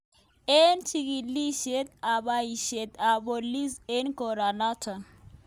Ae chikilisyet abisaiyek ab bolis eng korenoto